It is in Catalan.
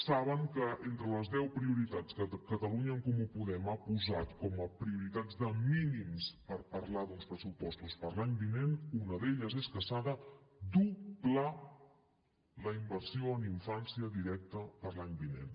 saben que entre les deu prioritats que catalunya en comú podem ha posat com a prioritats de mínims per parlar d’uns pressupostos per a l’any vinent una d’elles és que s’ha de doblar la inversió en infància directa per a l’any vinent